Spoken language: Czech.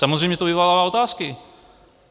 Samozřejmě to vyvolává otázky.